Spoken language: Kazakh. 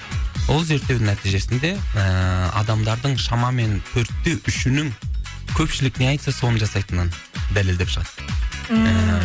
сол зерттеудің нәтижесінде ііі адамдардың шамамен төртте үшінің көпшілік не айтса соны жасайтынын дәлелдеп шығады ммм